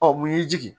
Ɔ mun y'i jigin